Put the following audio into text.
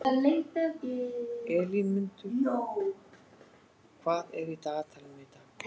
Elínmundur, hvað er í dagatalinu í dag?